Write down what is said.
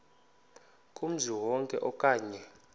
kumzi wonke okanye